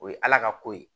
O ye ala ka ko ye